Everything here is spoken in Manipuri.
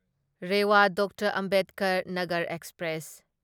Rewa doctor Ambedkar Nagar express